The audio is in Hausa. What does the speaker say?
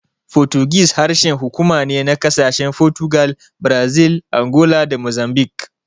Fotigis harshen hukuma ne na ƙasashen Fotugal, Brazil, Angola da Mozambik.